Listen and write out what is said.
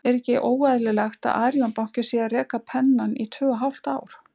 Er ekki óeðlilegt að Arion banki sé að reka Pennann í tvö og hálft ár?